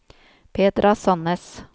Petra Sannes